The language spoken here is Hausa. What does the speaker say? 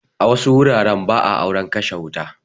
A wasu wuraren ba a auren kashe wuta.